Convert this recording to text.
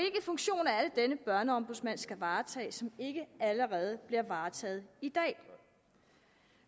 denne børneombudsmand skal varetage som ikke allerede bliver varetaget i dag